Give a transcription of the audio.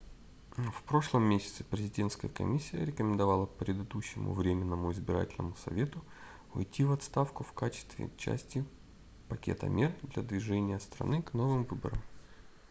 в прошлом месяце президентская комиссия рекомендовала предыдущему временному избирательному совету уйти в отставку в качестве части пакета мер для движения страны к новым выборам